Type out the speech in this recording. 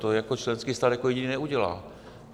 To jako členský stát jako jediný neudělá.